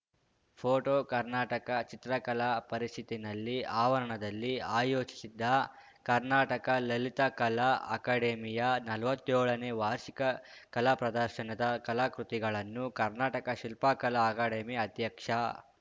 photo Karnataka ಚಿತ್ರಕಲಾ ಪರಿಷತ್ತಿನಲ್ಲಿ ಆವರಣದಲ್ಲಿ ಆಯೋಜಿಸಿದ್ದ ಕರ್ನಾಟಕ ಲಲಿತಕಲಾ ಅಕಾಡೆಮಿಯ ನಲ್ವತ್ತೇಳನೇ ವಾರ್ಷಿಕ ಕಲಾಪ್ರದರ್ಶದ ಕಲಾಕೃತಿಗಳನ್ನು ಕರ್ನಾಟಕ ಶಿಲ್ಪಕಲಾ ಅಕಾಡೆಮಿ ಅಧ್ಯಕ್ಷ